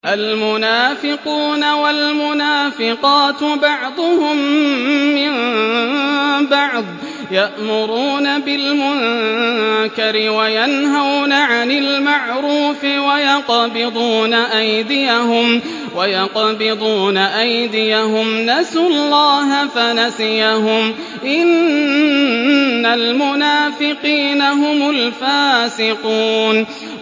الْمُنَافِقُونَ وَالْمُنَافِقَاتُ بَعْضُهُم مِّن بَعْضٍ ۚ يَأْمُرُونَ بِالْمُنكَرِ وَيَنْهَوْنَ عَنِ الْمَعْرُوفِ وَيَقْبِضُونَ أَيْدِيَهُمْ ۚ نَسُوا اللَّهَ فَنَسِيَهُمْ ۗ إِنَّ الْمُنَافِقِينَ هُمُ الْفَاسِقُونَ